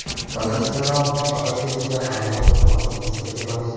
Professional fotosessiya arzon turmasligi sir emas.